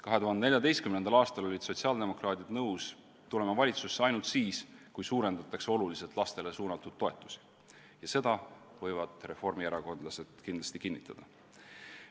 2014. aastal olid sotsiaaldemokraadid nõus tulema valitsusse ainult siis, kui suurendatakse oluliselt lastele suunatud toetusi ja seda võivad reformierakondlased kindlasti kinnitada.